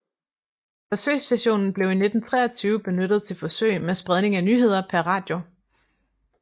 Forsøgsstationen blev i 1923 benyttet til forsøg med spredning af nyheder per radio